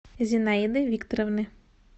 зинаиды викторовны